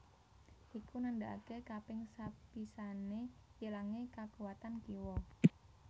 Iku nandakaké kaping sepisané ilangé kakuwatan kiwa